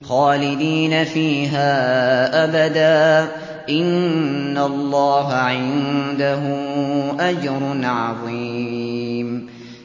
خَالِدِينَ فِيهَا أَبَدًا ۚ إِنَّ اللَّهَ عِندَهُ أَجْرٌ عَظِيمٌ